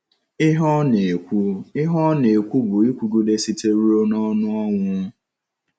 Ihe ọ na-ekwu Ihe ọ na-ekwu bụ ịkwụgịdesite ruo n'ọnụ ọnwụ.